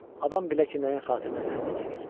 Adam bilə ki, nəyin xatirinə zəhmət çəkir.